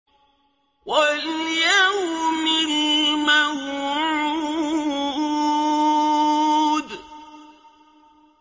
وَالْيَوْمِ الْمَوْعُودِ